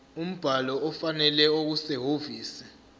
umbhalo ofanele okusehhovisi